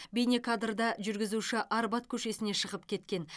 бейнекадрда жүргізуші арбат көшесіне шығып кеткен